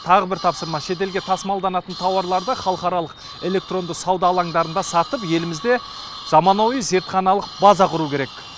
тағы бір тапсырма шет елге тасымалданатын тауарларды халықаралық электронды сауда алаңдарында сатып елімізде заманауи зертханалық база құру керек